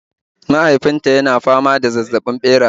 Mahaifin ta ya kamu da zazzabin ɓeraye